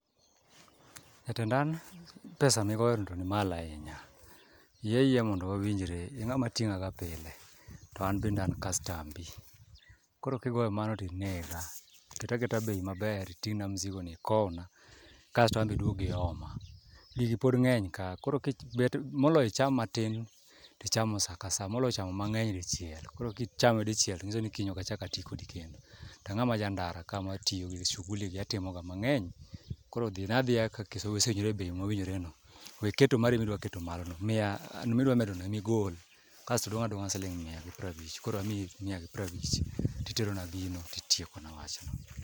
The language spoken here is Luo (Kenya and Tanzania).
Jatenda an pesa migoyono to nimalo ahinya yie ayieya mondo wawinjre ing'ama ting'aga pile to an bende an kastambi koro kigoyo mano tinega, ket aketa bei maber titing'na mzigoni ikowna kasto an be iduog ioma, gigi pod ng'eny ka koro moloyo icham matin ticham sa ka sa moloyo chamo mang'eny dichiel koro kichame dichiel to nyiso ni kiny okachak ati kodi kendo to ang'ama ja ndara kama matiyo gi shuguli gi atimo ga ka mang'eny. Koro dhina adhiya kaka wasewinjore e bei mwasewinjre no weketo mari midwaketo malono, mia midwamedono emigol kasto odong' adong'a siling' mia gi prabich koro amiyi mia gi prabich titerona gino titiekona wachno.